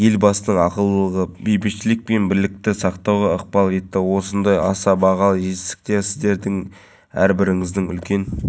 шағын сәулеттік формаларды ресейден тасымалдаймыз сапасында мін жоқ әрине балалар алаңдарын орнатуда тұрғындардың өтініш-тілектерін ескереміз ойын алаңдарының түр-түсін формаларын астаналықтар